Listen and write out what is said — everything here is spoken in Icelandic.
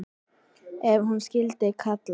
Ef hús skyldi kalla.